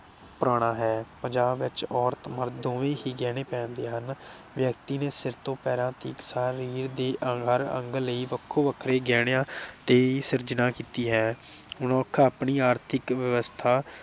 ਪੁਰਾਣਾ ਹੈ। ਪੰਜਾਬ ਵਿਚ ਔਰਤ ਮਰਦ ਦੋਵੇ ਹੀ ਗਿਣੇ ਪਹਿਨਦੇ ਹਨ। ਵਿਅਕਤੀ ਨੇ ਸਿਰ ਤੋਂ ਪੈਰਾਂ ਤੀਕ ਸਾਰੇ ਸਰੀਰ ਦੇ ਅੰਗ ਹਰ ਅੰਗ ਲਈ ਵੱਖੋ ਵੱਖਰੇ ਗਹਿਣਿਆਂ ਤੇ ਸਿਰਜਣਾ ਕੀਤੀ ਹੈ। ਮਨੁੱਖ ਆਪਣੀ ਆਰਥਿਕ ਵਿਵਸਥਾ